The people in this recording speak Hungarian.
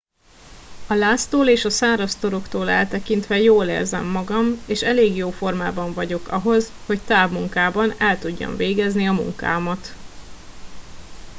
a láztól és a száraz toroktól eltekintve jól érzem magam és elég jó formában vagyok ahhoz hogy távmunkában el tudjam végezni a munkámat